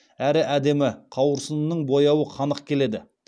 әрі әдемі қауырсынының бояуы қанық келеді